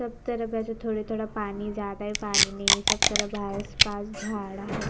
सब तरफ ऐसे थोड़े थोड़ा पानी ज्यादा है पानी नहीं है सब तरफ आस पास झाड़ा है।